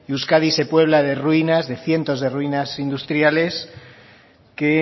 euskadi se puebla de ruinas de cientos de ruinas industriales que